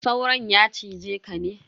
Sauron ya cize ka ne?